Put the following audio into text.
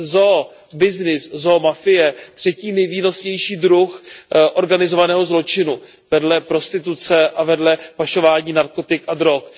zoo byznys, zoo mafie třetí nejvýnosnější druh organizovaného zločinu vedle prostituce a vedle pašování narkotik a drog.